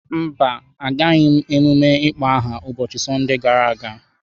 Mba, Agaraghị m ememme ịkpọ aha ụbọchị Sọnde gara aga.